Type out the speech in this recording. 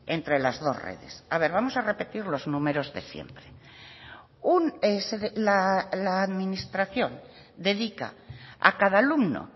entre las dos redes a ver vamos a repetir los números de siempre la administración dedica a cada alumno